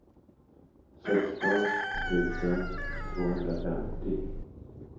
sexton tusen tvåhundrafemtio